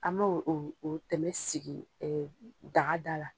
An m'o o o tɛmɛ sigi daga da la.